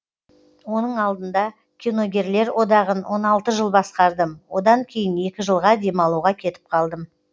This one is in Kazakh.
оның алдында киногерлер одағын он алты жыл басқардым одан кейін екі жылға демалуға кетіп қалдым